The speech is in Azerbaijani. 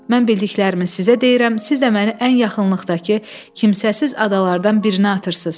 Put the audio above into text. Mən bildiklərimi sizə deyirəm, siz də məni ən yaxınlıqdakı kimsəsiz adalardan birinə atırsız.